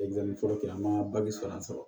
fɔlɔ kɛ an ma sɔrɔ an sɔrɔ